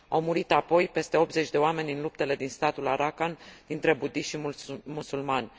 Au murit apoi peste 80 de oameni în luptele din statul Rakhine dintre budiști și musulmani.